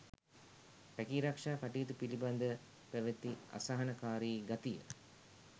රැකීරක්ෂා කටයුතු පිළිබඳ පැවැති අසහනකාරී ගතිය